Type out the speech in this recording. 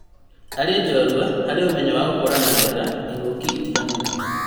Arĩ njorua harĩ ũmenyo wa gũkũrana wega ĩng'uki itiganĩte